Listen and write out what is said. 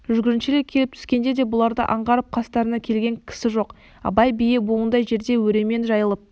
жүргіншілер кеп түскенде де бұларды аңғарып қастарына келген кісі жоқ абай бие бауындай жерде өремен жайылып